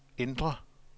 indre